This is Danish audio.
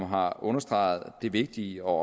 har understreget det vigtige og